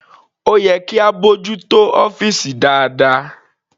Ó yẹ kí a bójú tó ọ́fìsì dáadáa..